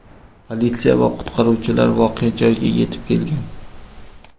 Politsiya va qutqaruvchilar voqea joyiga yetib kelgan.